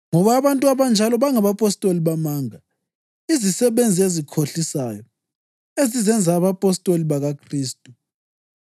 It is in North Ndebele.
Ngoba abantu abanjalo bangabapostoli bamanga, izisebenzi ezikhohlisayo, ezizenza abapostoli bakaKhristu.